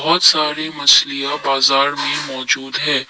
बहोत सारी मछलियां बाजार में मौजूद है।